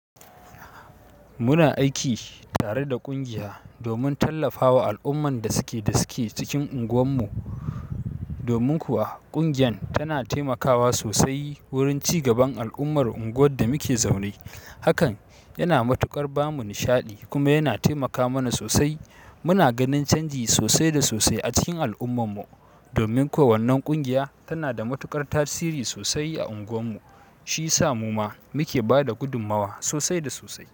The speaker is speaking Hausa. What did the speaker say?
Muna aikin tare da kungiya domin tallafawa alumman da suke cikin unguwan mu domin kuwa ƙungiyar tana taimakawa sosai wurin ci gaban al’ummar unguwar da muke zaune. Hakan yana matuƙar ba mu nishaɗi kuma yana taimaka mana sosai. Muna ganin canji sosai da sosai a cikin al’ummar mu, domin kuwa wannan ƙungiya tana da matuƙar tasiri sosai a unguwar mu, shi sa mu ma muke ba da gudummawa sosai da sosai.